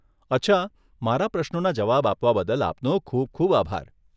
અચ્છા, મારા પ્રશ્નોના જવાબ આપવા બદલ આપનો ખૂબ ખૂબ આભાર.